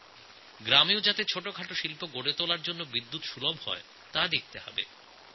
গ্রামে ছোটখাটো শিল্প স্থাপনে বিদ্যুতের অভাব হবে না